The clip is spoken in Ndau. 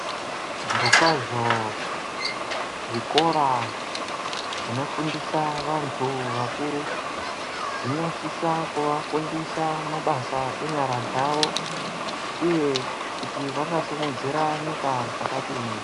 Zvirokwazva zvikora zvinofundisa vantu vakuru, zvinosisa kuvafundisa mabasa enyara dzavo, uye kuti vanga simudzira nyika zvakadini.